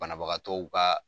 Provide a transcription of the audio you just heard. Banabagatɔw ka